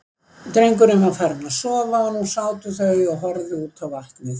Drengurinn var farinn að sofa og nú sátu þau og horfðu út á vatnið.